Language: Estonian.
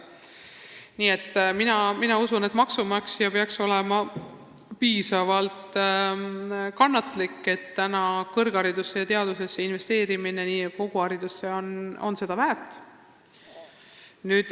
Nii et mina usun seda, et maksumaksja peaks olema piisavalt kannatlik, sest kõrgharidusesse ja teadusesse investeerimine on seda väärt.